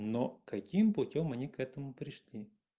но каким путём они к этому пришли